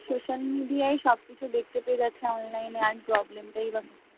social media সবকিছু দেখতে পেয়ে যাচ্ছে online এ। আর problem বা কোথায়?